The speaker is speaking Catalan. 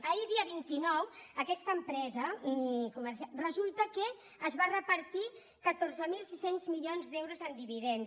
ahir dia vint nou aquesta empresa resulta que es va repartir catorze mil sis cents milions d’euros en dividends